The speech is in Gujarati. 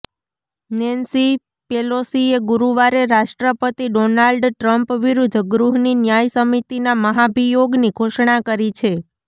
નેન્સી પેલોસીએ ગુરુવારે રાષ્ટ્રપતિ ડોનાલ્ડ ટ્રમ્પ વિરુદ્ધ ગૃહની ન્યાય સમિતિના મહાભિયોગની ઘોષણા કરી છે